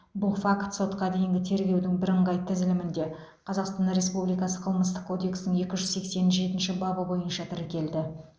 бұл факт сотқа дейінгі тергеудің бірыңғай тізілімінде қазақстан республикасы қылмыстық кодексінің екі жүз сексен жетінші бабы бойынша тіркелді